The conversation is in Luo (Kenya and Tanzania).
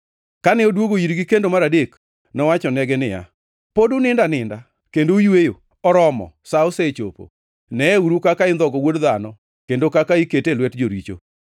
Kane odwogo irgi kendo mar adek, nowachonegi niya, “Pod unindo aninda kendo uyweyo? Oromo! Sa osechopo. Neyeuru kaka indhogo Wuod Dhano kendo kaka ikete e lwet joricho.